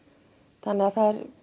þannig að það